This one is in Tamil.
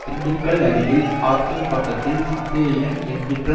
திண்டுக்கல் அருகில் ஆத்தூர் பக்கத்தில் சித்தயையன் என்கிற